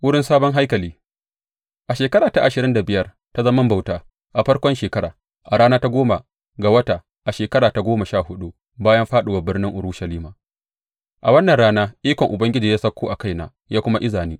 Wurin sabon haikali A shekara ta ashirin da biyar ta zaman bauta, a farkon shekara, a rana ta goma ga wata, a shekara ta goma sha huɗu bayan fāɗuwar birnin Urushalima, a wannan rana ikon Ubangiji ya sauko a kaina ya kuma iza ni.